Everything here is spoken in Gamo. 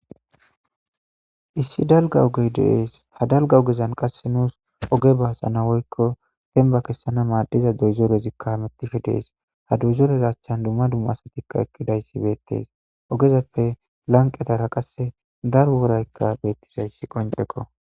Issi dalgga ogee de7ees; ha dalgga ogezan qassi nu oge kessana woykko dembba kessana maaddiza doyzerethikka hamoththishe de7ees; ha doyzeretha achchankka dumma dumma asathi eqqidayssi beeththees; ogezappe lanqqethara qassi daro woraykka beeththizayssi qonccekoo.